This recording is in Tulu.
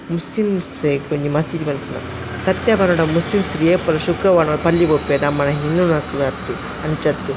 ಮುಸ್ಸ್ಲಿಮ್ಸ್ ರೆ ಗ್ ಐಕ್ ಒಂಜಿ ಮಸ್ಸೀದಿ ಪನ್ಪುನ ಸತ್ಯ ಪನೊಡ ಮುಸ್ಸ್ಲಿಮ್ಸ್ ಏಪಲ ಶುಕ್ರವಾರ ಪಲ್ಲಿ ಗ್ ಪೋಪೆರ್ ನಮ್ಮನ ಹಿಂದುನಕ್ಕುಲು ಅತ್ತ್ ಅಂಚ ಅತ್ತ್.